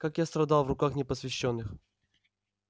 как я страдал в руках непосвящённых